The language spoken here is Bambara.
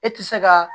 E ti se ka